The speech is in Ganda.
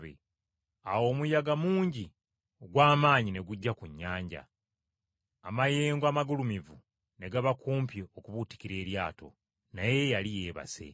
Awo omuyaga mungi ogw’amaanyi ne gujja ku nnyanja, amayengo amagulumivu ne gaba kumpi okubuutikira eryato. Naye yali yeebase.